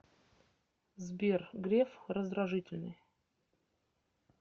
сбер греф раздражительный